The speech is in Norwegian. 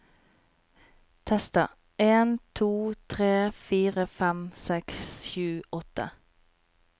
Tester en to tre fire fem seks sju åtte